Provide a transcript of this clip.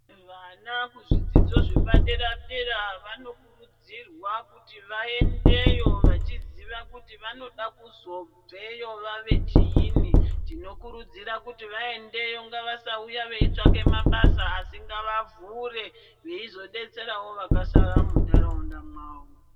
Vana kuzvidzidzo zvepadera-dera vanokurudzirwa kuti vaendeyo vachiziva kuti vanoda kuzobveyo vave chiinyi. Tinokurudzira kuti vaendeyo ngavasauya veitsvake mabasa asi ngavavhure, veizodetserawo vakasara muntaraunda mwavo.